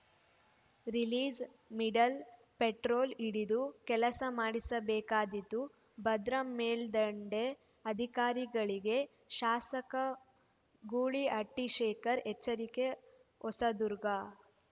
ರಿಲೀಜ್‌ಮಿಡಲ್‌ petrol ಹಿಡಿದು ಕೆಲಸ ಮಾಡಿಸಬೇಕಾದೀತು ಭದ್ರಾ ಮೇಲ್ದಂಡೆ ಅಧಿಕಾರಿಗಳಿಗೆ ಶಾಸಕ ಗೂಳಿಹಟ್ಟಿಶೇಖರ್‌ ಎಚ್ಚರಿಕೆ ಹೊಸದುರ್ಗ